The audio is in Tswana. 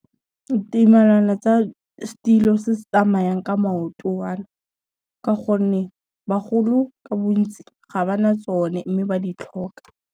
Ditumelano tsa setilo se se tsamayang ka maotoana, ka gonne bagolo ka bontsi ga ba na tsone mme ba di tlhoka.